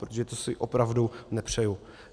Protože to si opravdu nepřeju.